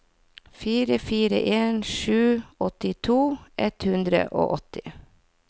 fire fire en sju åttito ett hundre og åtti